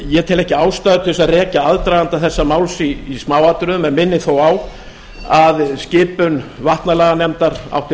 ég tel ekki ástæðu til þess að rekja aðdraganda þessa máls í smáatriðum en minni þó á að skipun vatnalaganefndar átti